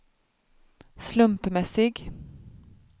slumpmässig